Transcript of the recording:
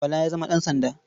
Bala ya zama ɗansanda.